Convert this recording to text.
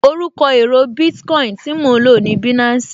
Orúkọ èro Bitcoin tí mo lò ní Binansi